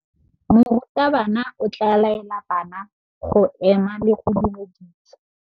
Morutabana o tla laela bana go ema le go go dumedisa.